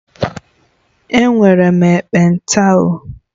Enwere m ekpenta o